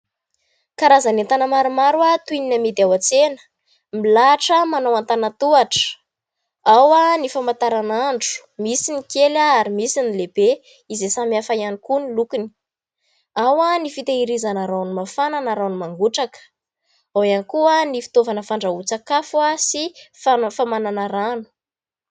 Karazana entana maromaro toy ny amidy ao an-tsena, milahatra manao antanan-tohatra, ao ny famantaranandro, misy ny kely ary misy ny lehibe izay samy hafa ihany koa ny lokony. Ao ny fitahirizana rano mafana na rano mangotraka, ao ihany koa ny fitaovana fandrahoan-tsakafo sy famanana rano.